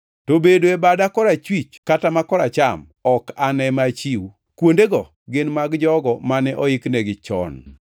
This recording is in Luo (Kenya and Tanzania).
to bedo e bada ma korachwich kata ma koracham ok an ema achiw. Kuondego gin mag jogo mane oiknegi chon.”